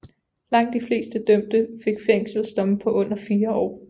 Langt de fleste dømte fik fængselsdomme på under fire år